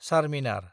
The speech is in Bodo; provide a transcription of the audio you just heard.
चार्मिनार